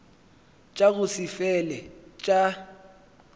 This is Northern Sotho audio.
tša go se fele tša